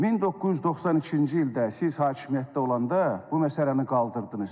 1992-ci ildə siz hakimiyyətdə olanda bu məsələni qaldırdınız.